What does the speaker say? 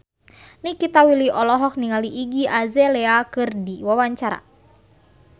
Nikita Willy olohok ningali Iggy Azalea keur diwawancara